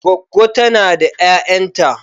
Goggo tana da 'ya'yanta.